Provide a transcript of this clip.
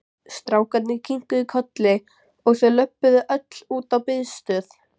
Strákarnir kinkuðu kolli og þau lölluðu öll út á biðstöð.